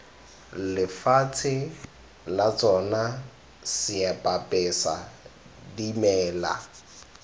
lefatshe la tsona seapesa dimela